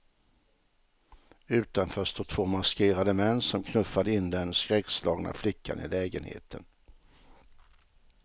Utanför stod två maskerade män som knuffade in den skräckslagna flickan i lägenheten.